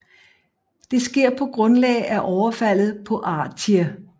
Det sker på grundlag efter overfaldet på Artie